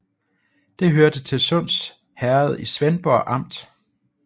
Det hørte til Sunds Herred i Svendborg Amt